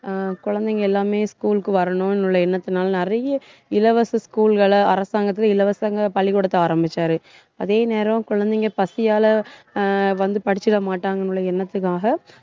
அஹ் குழந்தைங்க எல்லாமே school க்கு வரணும்னு உள்ள எண்ணத்துனால நிறைய இலவச school கள அரசாங்கத்துல இலவசங்க பள்ளிக்கூடத்தை ஆரம்பிச்சாரு. அதே நேரம் குழந்தைங்க பசியால அஹ் வந்து படிச்சிட மாட்டாங்கன்னு உள்ள எண்ணத்துக்காக